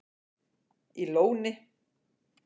í Lóni